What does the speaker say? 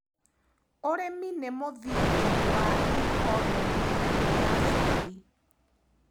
ũrĩmi nĩ mũthingi wa iconomĩ ya bũrũri.